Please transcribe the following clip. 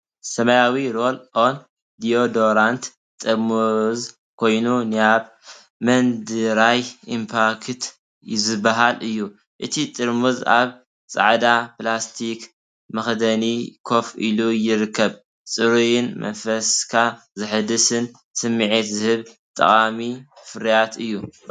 ሰማያዊ ሮል ኦን ዲዮዶራንት ጥርሙዝ ኮይኑ፡ ኒቭያ መን ድራይ ኢምፓክት ዝበሃል እዩ። እቲ ጥርሙዝ ኣብ ጻዕዳ ፕላስቲክ መኽደኒ ኮፍ ኢሉ ይርከብ። ጽሩይን መንፈስካ ዘሐድስን ስምዒት ዝህብ ጠቓሚ ፍርያት እዩ፡፡